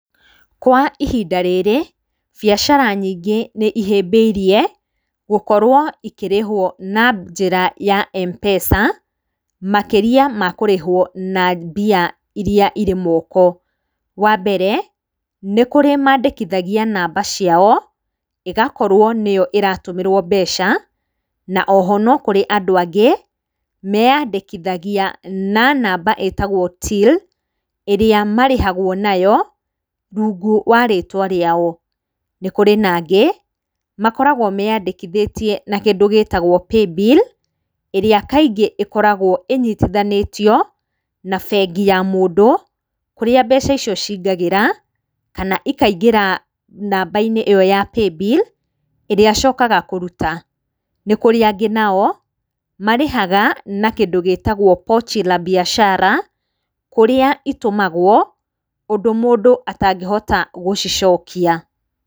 Kwa ihinda rĩrĩ, biacara nyingĩ nĩ ihĩmbĩirie gũkorwo ikĩrĩhwo na njĩra ya M-PESA makĩria makũrĩhwo na mbia iria irĩ moko. Wa mbere nĩ kũrĩ mandĩkithagia namba ciao ĩgakorwo nĩyo ĩratũmĩrwo mbeca. Na oho, no kũrĩ andũ angĩ meyandĩkithagia na namba ĩtagwo Till ĩrĩa marĩhagwo nayo, rungu wa rĩtwa rĩao. Nĩ kũrĩ nangĩ, makoragwo meyandĩkithĩtie na kĩndũ gĩtagwo Paybill ĩrĩa kaingĩ ĩkoragwo ĩnyitithanĩtio na bengi ya mũndũ, kũrĩa mbeca icio cingagĩra, kana ikaingĩra namba-inĩ ĩyo ya Paybill ĩrĩa acokaga kũruta. Nĩ kũrĩ angĩ nao, marĩhaga na kĩndũ gĩtagwo Pochi La Biashara kũrĩa itũmagwo, ũndũ mũndũ atangĩhota gũcicokia.